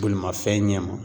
Bolimafɛn ɲɛma.